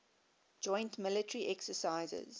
joint military exercises